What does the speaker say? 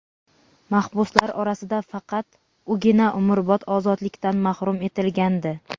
Mahbuslar orasida faqat ugina umrbod ozodlikdan mahrum etilgandi.